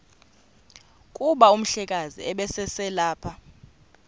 kuba umhlekazi ubeselelapha